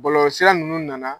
Bɔlɔlɔsira nunnu nana